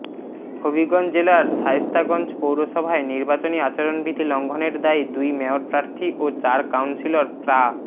হবিগঞ্জ জেলার শায়েস্তাগঞ্জ পৌরসভায় নির্বাচনী আচরণবিধি লঙ্ঘনের দায়ে দুই মেয়র প্রার্থী ও চার কাউন্সিলর প্রা